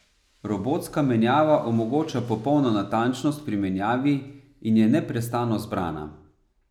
Robotska menjava omogoča popolno natančnost pri menjavi in je neprestano zbrana.